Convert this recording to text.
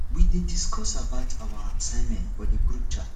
we dey discuss about our assignment for di group chat